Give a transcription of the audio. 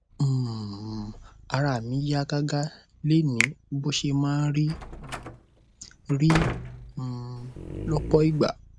um ara mi yá gágá lénìí bó ṣe máa ń um rí um lọpọ ìgbà